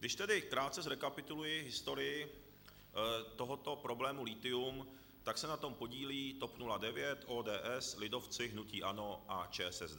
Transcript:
Když tedy krátce zrekapituluji historii tohoto problému lithium, tak se na tom podílí TOP 09, ODS, lidovci, hnutí ANO a ČSSD.